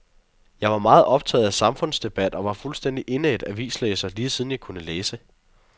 Jeg var meget optaget af samfundsdebat og var fuldstændig indædt avislæser, lige siden jeg kunne læse.